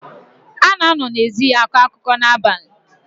A na-anọ n’ezi akọ akụkọ n’abalị